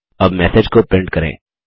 अब मैसेज को प्रिन्ट करें